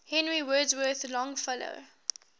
henry wadsworth longfellow